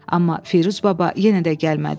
Amma Firuz baba yenə də gəlmədi.